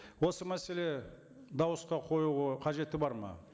осы мәселе дауысқа қоюға қажеті бар ма